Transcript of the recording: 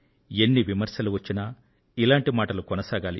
ఎన్ని విమర్శలు వచ్చినా ఇలాంటి మాటలు కొనసాగాలి